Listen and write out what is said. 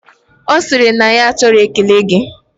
Osiri na ya achoro ekele gi